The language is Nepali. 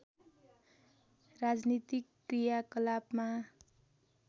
राजनीतिक कृयाकलापमा